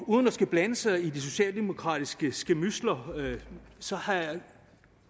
uden at skulle blande sig i de socialdemokratiske skærmydsler så